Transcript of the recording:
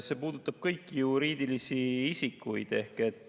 See puudutab kõiki juriidilisi isikuid.